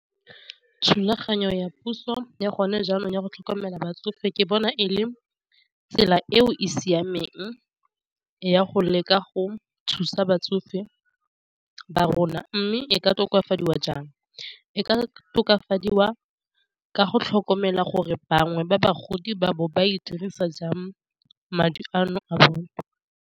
Thulaganyo ya puso ya gone jaanong ya go tlhokomela batsofe ke bona e le tsela eo e siameng ya go leka go thusa batsofe ba rona, mme e ka tokafadiwa jang e ka tokafadiwa ka go tlhokomela gore bangwe ba bagodi ba bo ba e dirisa jang madi ano a bone.